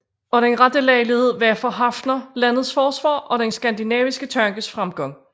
Og den rette lejlighed var for Haffner landets forsvar og den skandinaviske tankes fremgang